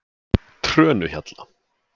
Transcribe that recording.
Trönuhjalla